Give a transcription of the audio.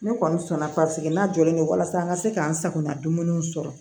Ne kɔni sɔn na n'a jɔlen do walasa an ka se k'an sagona dumuniw sɔrɔ